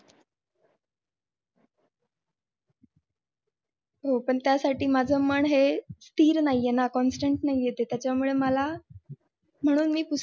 हो पण त्यासाठी मन हे स्थिर नाहीये ना constant नाहीये म्हणून मी पुस्तकांशी